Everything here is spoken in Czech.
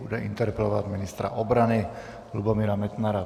Bude interpelovat ministra obrany Lubomíra Metnara.